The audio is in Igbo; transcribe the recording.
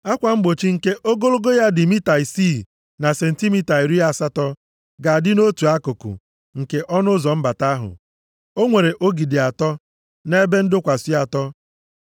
Akwa mgbochi nke ogologo ya dị mita isii na sentimita iri asatọ ga-adị nʼotu akụkụ nke ọnụ ụzọ mbata ahụ. O nwere ogidi atọ na ebe ndọkwasị atọ.